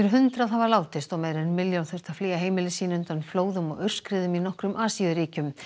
hundrað hafa látist og meira en milljón þurft að flýja heimili sín undan flóðum og aurskriðum í nokkrum Asíuríkjum